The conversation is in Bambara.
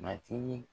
Matigi